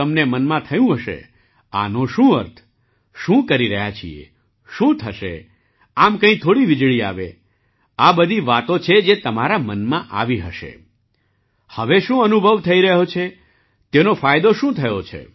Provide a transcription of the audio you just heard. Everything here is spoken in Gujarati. તમને મનમાં થયું હશે આનો શું અર્થ શું કરી રહ્યા છીએ શું થશે આમ કંઈ થોડી વીજળી આવે આ બધી વાતો તમારા મનમાં આવી હશે હવે શું અનુભવ થઈ રહ્યો છે તેનો ફાયદો શું થયો છે